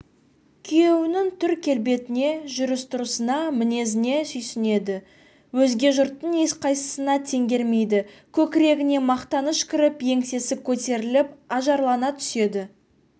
күйеуінің түр-келбетіне жүріс-тұрысына мінезіне сүйсінеді өзге жұрттың ешқайсысына теңгермейді көкірегіне мақтаныш кіріп еңсесі көтеріліп ажарлана түседі